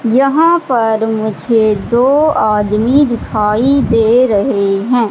यहां पर मुझे दो आदमी दिखाई दे रहे हैं।